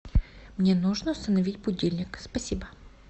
мне нужно установить будильник спасибо